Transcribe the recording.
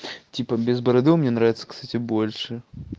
типа без бороды он мне нравится кстати больше